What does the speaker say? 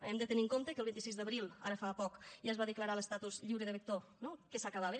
hem de tenir en compte que el vint sis d’abril ara fa poc ja es va declarar l’estatus lliure de vector no que s’acabava